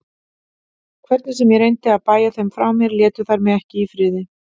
Hvernig sem ég reyndi að bægja þeim frá mér létu þær mig ekki í friði.